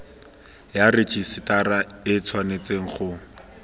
ya rejisetara e tshwanetse go